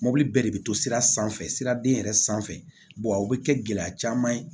Mobili bɛɛ de bɛ to sira sanfɛ siraden yɛrɛ sanfɛ a bɛ kɛ gɛlɛya caman ye